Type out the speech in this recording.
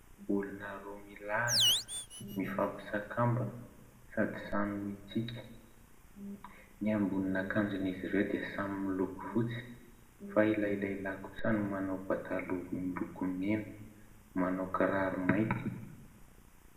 Olona roa milahatra mifampisakambina sady samy mitsiky ny ambonin'akanjon' izy ireo dia samy miloko fotsy fa ilay lehilahy kosa no manao pataloha miloko mena, manao kiraro mainty.